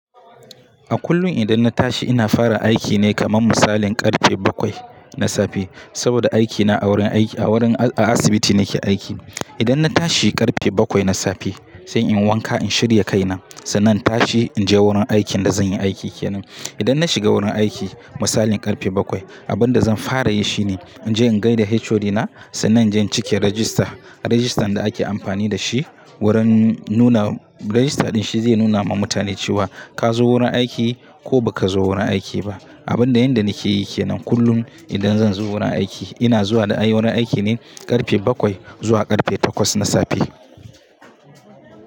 A kullum idan na tashi ina fara aiki ne kaman misalin karfe bakwai na safe. Saboda aikina a wurin aiki-- a wurin-- a asibiti nake aiki. Idan na tashi karfe bakwai na safe, sai in wanka in shirya kaina. Sannan tashi in je wurin aikin da zan yi aiki kenan. Idan na shiga wurin aiki, misalin karfe bakwai, abin da zan fara yi shine in je in gaida HOD na. Sannan jan cike rajista, rajistan da ake amfani da shi wurin nuna-- rajista ɗin shi zai nuna ma mutane cewa ka zo wurin aiki ko ba ka zo wurin aiki ba. Abin da yanda nake yi kenan kullum idan zan zo wurin aiki ina zuwa da ayi wurin aiki ne karfe bakwai zuwa karfe takwas na safe.